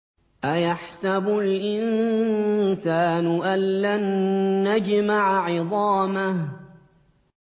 أَيَحْسَبُ الْإِنسَانُ أَلَّن نَّجْمَعَ عِظَامَهُ